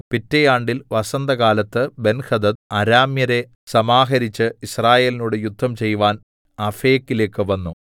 പിറ്റെ ആണ്ടിൽ വസന്തകാലത്ത് ബെൻഹദദ് അരാമ്യരെ സമാഹരിച്ച് യിസ്രായേലിനോട് യുദ്ധം ചെയ്‌വാൻ അഫേക്കിലേക്ക് വന്നു